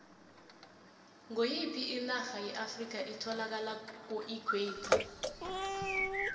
ngoyiphi inarha yeafrikha etholakala kuequator